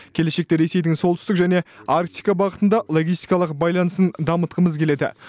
келешекте ресейдің солтүстік және арктика бағытында логистикалық байланысын дамытқымыз келеді